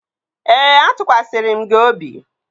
Ee, atụkwasịrị m gị obi